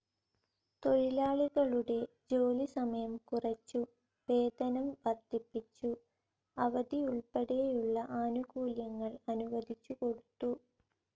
തൊഴിലാളികളുടെ ജോലി സമയം കുറച്ചു, വേതനം വർദ്ധിപ്പിച്ചു, അവധി ഉൾപ്പെടെയുള്ള ആനുകൂല്യങ്ങൾ അനുവദിച്ചുകൊടുത്തു.